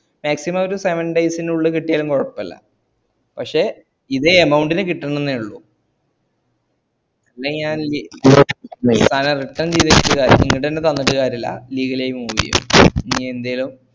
maximum ഒരു seven days നുള്ളില് കിട്ട്യാലും കൊയപ്പല്ല പക്ഷേ ഇതേ amount ന് കിട്ടണന്നൊള്ളു അല്ലെങ്കിഞാ സാനം return ചെയ്തിട്ട് കാര്യല്ല legal ലായി move യ്യും ഇനി എന്തേലും